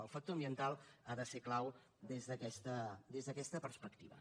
el factor ambiental ha de ser clau des d’aquesta perspectiva